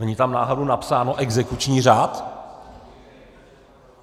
Není tam náhodou napsáno Exekuční řád?